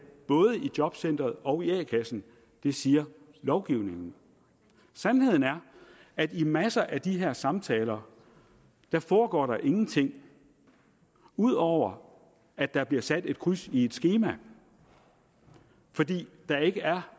både i jobcenteret og i a kassen det siger lovgivningen sandheden er at i masser af de her samtaler foregår der ingenting ud over at der bliver sat et kryds i et skema fordi der ikke er